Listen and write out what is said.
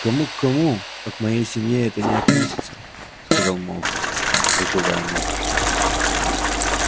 к кому к кому а к моей семье это не относится сказал малфой раздувая ноздри